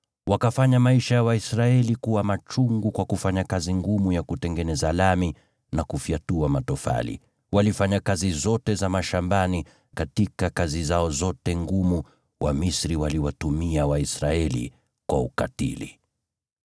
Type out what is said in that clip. Wakafanya maisha ya Waisraeli kuwa machungu kwa kufanya kazi ngumu ya kutengeneza lami na kufyatua matofali, na kazi zote za mashambani; katika kazi zao zote ngumu, Wamisri waliwatumia Waisraeli kwa ukatili.